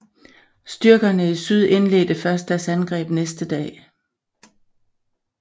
Styrkerne i syd indledte først deres angreb næste dag